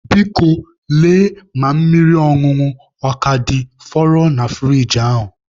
Biko, lee ma mmiri ọṅụṅụ a ka fọrọ na furiji ahụ